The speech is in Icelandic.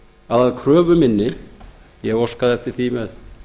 að kröfu minni ég óskaði eftir því með